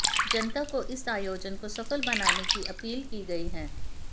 जनता से इस आयोजन को सफल बनाने की अपील की गई है